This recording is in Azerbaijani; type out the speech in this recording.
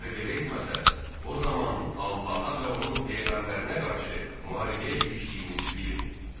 Əgər belə etməsəz, o zaman Allaha və onun peyğəmbərinə qarşı müharibəyə girişdiyinizi bilin.